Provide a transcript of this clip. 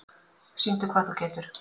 Sýndu hvað þú getur!